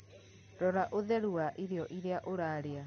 Rora ũtheru wa irio iria ũrarĩa.